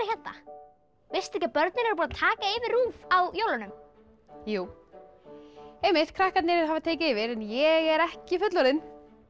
hérna veistu ekki að börnin eru búin að taka yfir RÚV á jólunum jú einmitt krakkarnir hafa tekið yfir en ég er ekki fullorðin